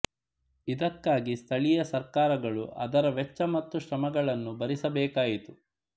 ಇದಕ್ಕಾಗಿ ಸ್ಥಳೀಯ ಸರ್ಕಾರಗಳು ಅದರ ವೆಚ್ಚ ಮತ್ತು ಶ್ರಮಗಳನ್ನು ಭರಿಸಬೇಕಾಯಿತು